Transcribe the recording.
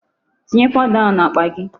Tinye powder ahụ n'akpa gị.